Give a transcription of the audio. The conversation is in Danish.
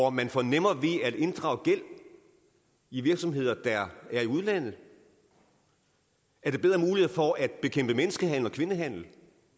at man får nemmere ved at inddrage gæld i virksomheder der er i udlandet er det bedre muligheder for at bekæmpe menneskehandel og kvindehandel